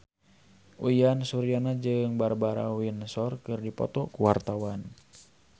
Uyan Suryana jeung Barbara Windsor keur dipoto ku wartawan